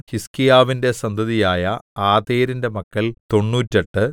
ഹിസ്ക്കീയാവിന്റെ സന്തതിയായ ആതേരിന്റെ മക്കൾ തൊണ്ണൂറ്റെട്ട്